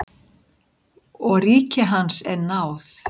Og ríki hans er náð.